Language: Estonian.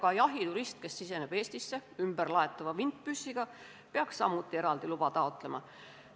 Ka jahiturist, kes ümberlaetava vintpüssiga Eestisse siseneb, peaks eraldi luba taotlema.